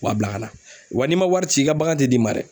u b'a bila ka na wa n'i man wari ci i ka bagan tɛ d'i ma dɛ.